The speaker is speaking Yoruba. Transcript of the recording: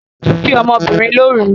O bi ọ́mọ́ obìnrin lóru